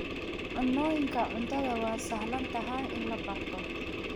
Cunnooyinka cuntada waa sahlan tahay in la barto.